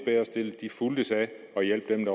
helt